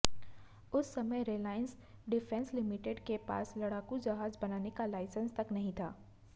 उस समय Reliance Defence Limited के पास लड़ाकू जहाज बनाने का लाइसेंस तक नहीं था